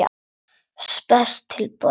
Spes tilboð.